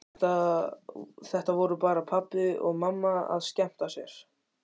Þetta voru bara pabbi og mamma að skemmta sér.